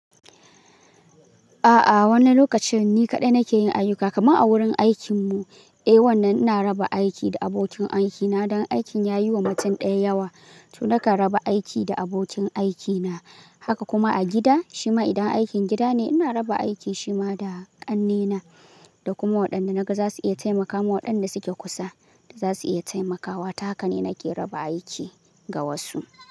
A'a, wani lokacin ni kaɗai nake yin ayyuka, kamar a wurin aikin mu. Eh, wannan ina raba aiki da abokin aikina don aikin ya yi wa mutum ɗaya yawa, to nakan raba aiki da abokin aikina. Haka kuma a gida, shima idan aikin gida ne ina raba aiki shima da ƙannena da kuma waɗanda naga za su iya taimakawa waɗanda suke kusa da za su iya taimakawa. Ta haka ne nake raba aiki ga wasu.